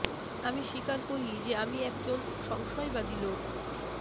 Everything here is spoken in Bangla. আমি স্বীকার করি যে আমি একজন সংশয়বাদী লোক